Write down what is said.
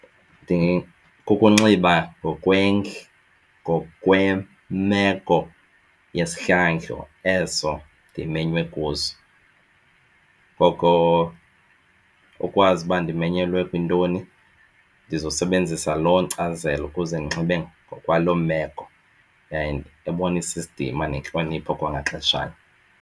Kukunxiba ngokwemeko yesihlandlo eso ndimenywe kuso. Ngoko ukwazi uba ndimenyelwe kwintoni ndizosebenzisa loo nkcazelo ukuze ndinxibe ngokwaloo meko yaye ebonisa isidima nentlonipho kwangaxeshanye.